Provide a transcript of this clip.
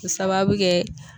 K'o sababu kɛ